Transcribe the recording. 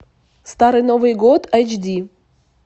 старый новый год айч ди